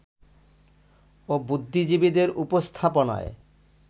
ও বুদ্ধিজীবীদের উপস্থাপনায়